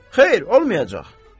Xeyr, olmayacaq.